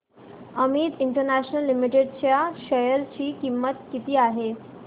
Amit International Limited च्या share ची किंमत किती आहे